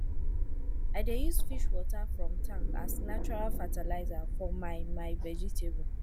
i dey use fish water from tank as natural fertilizer for my my vegetable